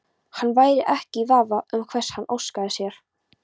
Hann væri ekki í vafa um hvers hann óskaði sér.